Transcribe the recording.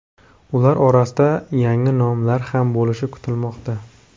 Ular orasida yangi nomlar ham bo‘lishi kutilmoqda.